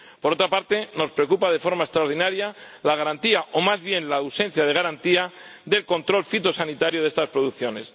Por otra parte, nos preocupa de forma extraordinaria la garantía, o más bien la ausencia de garantía, del control fitosanitario de estas producciones.